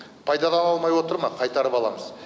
пайдалана алмай отыр ма қайтарып аламыз